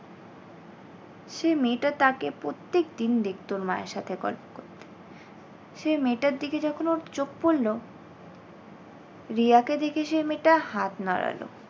সেই মেয়েটা তাকে প্রত্যেকদিন দেখতো ওর মায়ের সাথে গল্প করতে। সে মেয়েটার দিকে যখন ওর চোখ পড়লো রিয়াকে দেখে সে মেয়েটা হাত নাড়ালো।